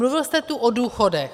Mluvil jste tu o důchodech.